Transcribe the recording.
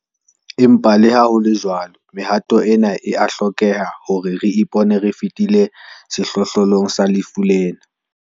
Empa leha ho le jwalo, mehato ena e a hlokeha hore re ipone re fetile sehlohlolong sa lefu lena.